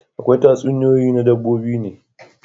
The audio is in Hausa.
Akwai tatsuniyoyin na dabbobi ne